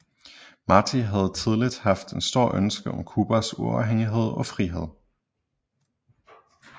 Martí havde tidligt haft et stort ønske om Cubas uafhængighed og frihed